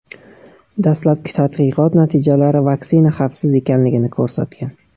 Dastlabki tadqiqot natijalari vaksina xavfsiz ekanligini ko‘rsatgan .